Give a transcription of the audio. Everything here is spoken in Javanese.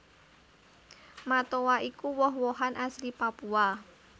Matoa iku woh wohan asli Papua